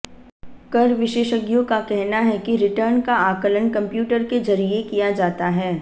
कर विशेषज्ञों का कहना है कि रिटर्न का आकलन कंप्यूटर के जरिये किया जाता है